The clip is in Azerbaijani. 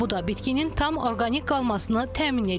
Bu da bitkinin tam orqanik qalmasını təmin edir.